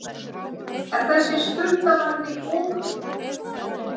En er þessi skuldavandi ofmetinn?